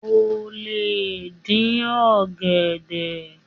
O lè dín ọ̀gẹ̀dẹ̀.